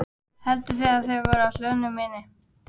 Hélduð þið að þeir væru í hlöðunni minni?